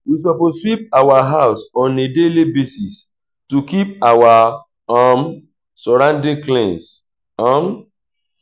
we suppose sweep our house on a daily basis to keep our um sorroundings clean um